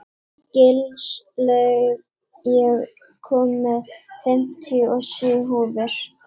Gilslaug, ég kom með fimmtíu og sjö húfur!